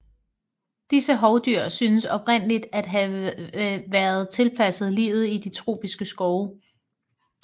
Disse hovdyr synes oprindeligt at have været tilpasset livet i de tropiske skove